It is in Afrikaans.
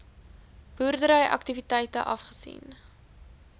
boerdery aktiwiteite afgesien